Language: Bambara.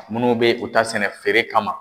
Munnu be u ta feere sɛnɛ kama